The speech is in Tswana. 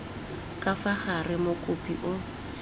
ka fa gare mokopi o